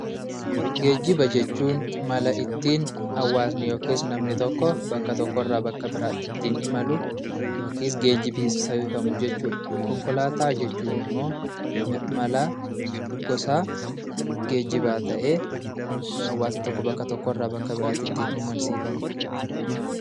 Geejjiba jechuun mala namni tokko bakka tokkoo gara bakka biraatti ittiin imalu jechuudha. Konkolaataan immoo gosa geejjibaa ta'ee hawaasa tokko bakka tokkoo gara bakka biraatti ittiin imalsiifamudha.